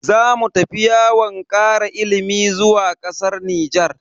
Zamu tafi yawon kara ilimi zuwa kasar Nijar.